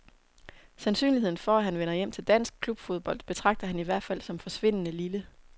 Sandsynligheden for, at han vender hjem til dansk klubfodbold betragter han i hvert fald som forsvindende lille.